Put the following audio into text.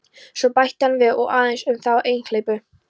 Svo bætti hann við: Og aðeins um þá einhleypu.